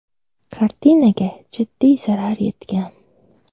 Kartinaga jiddiy zarar yetgan.